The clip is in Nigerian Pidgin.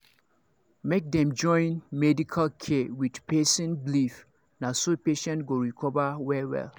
make dem join medical care with person believe na so patient go recover well well